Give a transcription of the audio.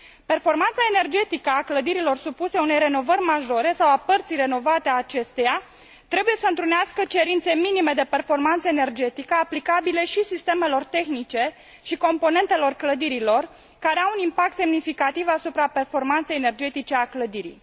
Performanța energetică a clădirilor care fac obiectul unei renovări majore sau a părților renovate a acestora trebuie să întrunească cerințe minime de performanță energetică aplicabile și sistemelor tehnice și componentelor clădirilor care au un impact semnificativ asupra performanței energetice a clădirii.